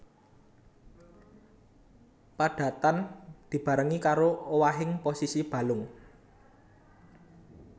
Padatan dibarengi karo owahing posisi balung